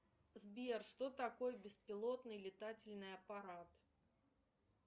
сбер что такое беспилотный летательный аппарат